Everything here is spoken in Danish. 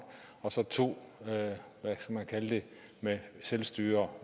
og så to hvad skal man kalde det med selvstyre